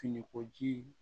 Finikoji